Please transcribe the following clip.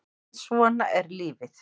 En svona er lífið